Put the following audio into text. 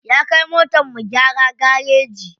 Ya kai motar mu gyara gareji.